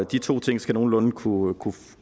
de to ting skal nogenlunde kunne